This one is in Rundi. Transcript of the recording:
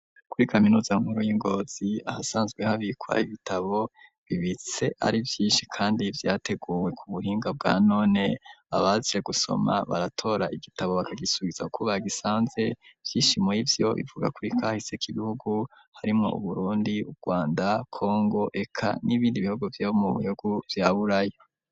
Kuri kaminuza nkuru y'i Ngozi, ahasanzwe habikwa ibitabo, bibitse ari vyinshi kandi vyateguwe ku buhinga bwa none, abaje gusoma baratora igitabo bakagisubiza uko bagisanze, vyinshi murivyo, bivuga kuri kahise k'ibihugu harimwo Uburundi, Urwanda, kongo, eka n'ibindi bihugu vyo mu bihugu vya Buraya.